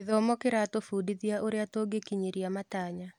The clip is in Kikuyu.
Gĩthomo kĩratũbundithia ũrĩa tũngĩkinyĩra matanya.